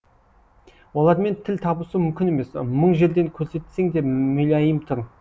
олармен тіл табысу мүмкін емес мың жерден көрсетсең де мүләйім түр